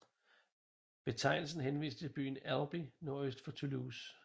Betegnelsen henviser til byen Albi nordøst for Toulouse